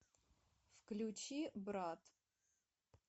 включи брат